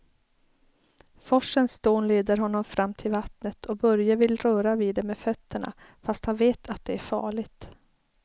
Forsens dån leder honom fram till vattnet och Börje vill röra vid det med fötterna, fast han vet att det är farligt.